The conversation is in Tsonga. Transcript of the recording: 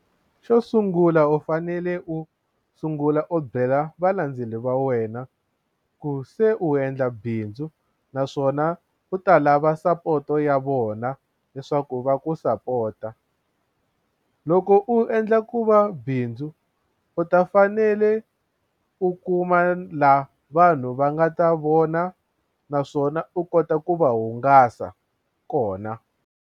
Xo sungula u fanele u sungula u byela valandzeleri va wena ku se u endla bindzu naswona u ta lava sapoto ya vona leswaku va ku sapota loko u endla ku va bindzu u ta fanele u kuma laha vanhu va nga ta vona naswona u kota ku va hungasa kona.